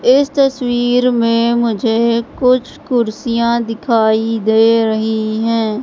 इस तस्वीर में मुझे कुछ कुर्सियां दिखाई दे रही हैं।